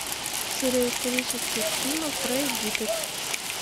серия исторических фильмов про египет